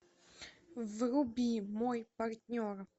вруби мой партнер